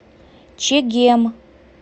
чегем